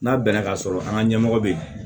N'a bɛnna ka sɔrɔ an ka ɲɛmɔgɔ be yen